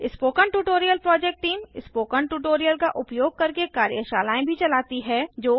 spoken tutorial project team spoken tutorial का उपयोग करके कार्यशालाएँ भी चलाती है